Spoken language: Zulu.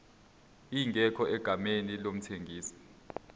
ingekho egameni lomthengisi